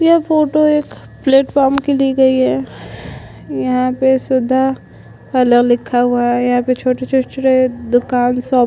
यह फोटो एक platform की ली गई है यहाँ पे शुधा पार्लर लिखा हुआ है यहाँ पे दुकान छोटी -छोटी सी दुकन स--